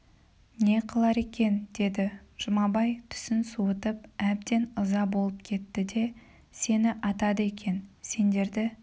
не қылар екен деді жұмабай түсін суытып әбден ыза болып кетті де сені атады екен сендерді